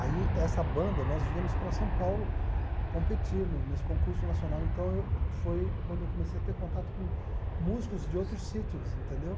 Aí essa banda, nós víamos para São Paulo competir no nesse concurso nacional, então foi quando eu comecei a ter contato com músicos de outros sítios, entendeu?